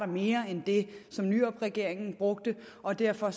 mere end nyrupregeringen brugte og derfor